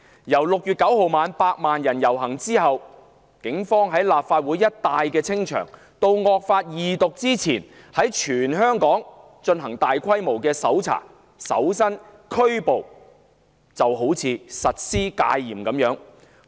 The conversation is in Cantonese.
由6月9日晚百萬人遊行後警方在立法會大樓附近一帶清場，到"惡法"恢復二讀辯論前，警方在全港進行大規模搜查、搜身及拘捕，猶如實施戒嚴般。